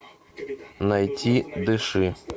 найти дыши